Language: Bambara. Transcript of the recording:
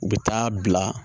U bɛ taa bila